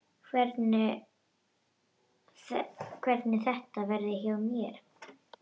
Hvernig þetta verði hjá mér.